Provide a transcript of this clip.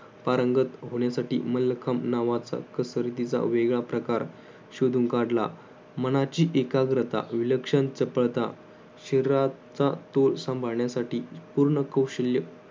पारंगत होण्यासाठी मल्लखम नावाचा कसरतीचा वेगळा प्रकार शोधून काढला. मनाची एकाग्रता, विलक्षण, चपळता, शरीराचा तोल सांभाळण्यासाठी पूर्ण कौशल्य